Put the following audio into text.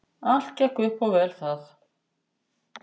Allt gekk upp og vel það.